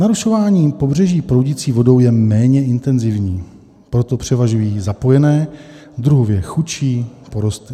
Narušování pobřeží proudící vodou je méně intenzivní, proto převažují zapojené, druhově chudší porosty.